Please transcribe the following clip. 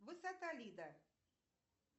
высота лида